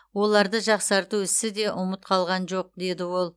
оларды жақсарту ісі де ұмыт қалған жоқ деді ол